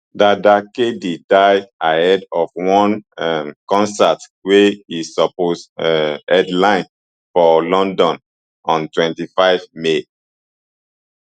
dada kd die ahead of one um concert wey e suppose um headline for london on twenty-five may